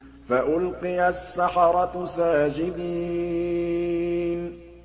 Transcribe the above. فَأُلْقِيَ السَّحَرَةُ سَاجِدِينَ